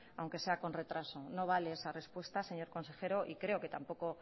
aunque sea con retraso no vale esa respuesta señor consejero y creo que tampoco